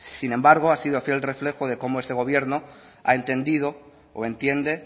sin embargo ha sido fiel reflejo de cómo este gobierno ha entendido o entiende